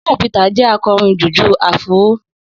Shina Peter jẹ akọrin jùjú áfúró